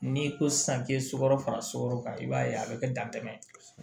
N'i ko san k'i ye sukaro fara sokɔrɔ kan i b'a ye a bɛ kɛ dantɛ ye